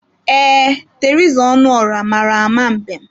Ee, Teresa Ọnụọrah mara ama mbem.